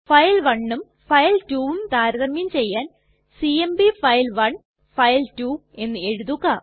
file1ഉം file2ഉം താരതമ്യം ചെയ്യാൻ സിഎംപി ഫൈൽ1 ഫൈൽ2 എന്ന് എഴുതുക